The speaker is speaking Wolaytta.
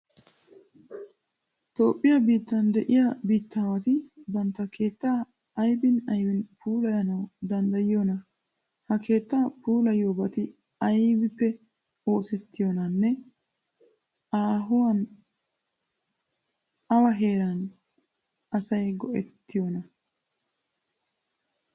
Toophphiya biittan de'iya biittaawati bantta keettaa aybin aybin puulayanawu danddayiyoonaa? Ha keettaa puulayiyobati aybippe oosettiyonaanne aahuwan awa heeraa asay go"ettiyonaa?